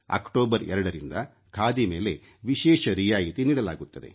October 2 ರಿಂದ ಖಾದಿ ಮೇಲೆ ವಿಶೇಷ ರಿಯಾಯಿತಿ ನೀಡಲಾಗುತ್ತದೆ